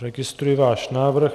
Registruji váš návrh.